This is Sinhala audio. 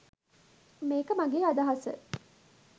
මේක මගේ අදහස